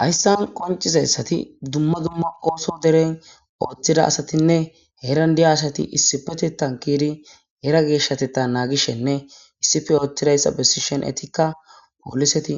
Haysan qocizaysat dumma dumma ooso deren othida asatinne heran de'iya asat issipetethan ke'id Hera geshatetha nagishenne issippe oothidaysa besishin etika polist,